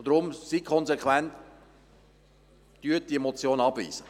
Deshalb seien Sie bitte konsequent und lehnen Sie diese Motion ab.